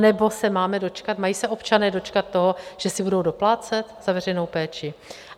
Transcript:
Anebo se máme dočkat, mají se občané dočkat toho, že si budou doplácet za veřejnou péči?